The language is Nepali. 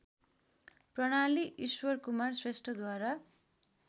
प्रणाली ईश्वरकुमार श्रेष्ठद्वारा